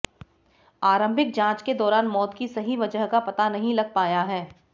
आरंभिक जांच के दौरान मौत की सही वजह का पता नहीं लग पाया है